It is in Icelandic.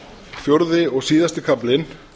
fjórði og síðasti kaflinn